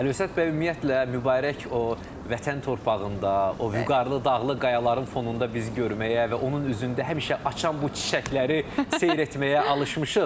Əlövsət bəy ümumiyyətlə mübarək o vətən torpağında, o vüqarlı dağlı qayaların fonunda biz görməyə və onun üzündə həmişə açan bu çiçəkləri seyr etməyə alışmışıq.